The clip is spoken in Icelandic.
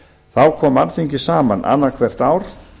þá kom alþingi saman annað hvert ár